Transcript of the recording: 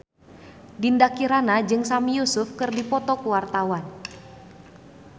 Dinda Kirana jeung Sami Yusuf keur dipoto ku wartawan